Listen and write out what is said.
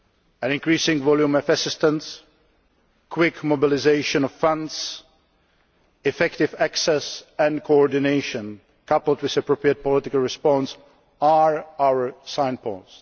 efforts. An increasing volume of assistance, quick mobilisation of funds, effective access and coordination, coupled with an appropriate political response, are our